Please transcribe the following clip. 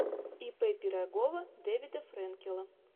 ип пирогова дэвида фрэнкела